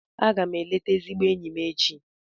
Aga m eleta ezigbo enyi m echi.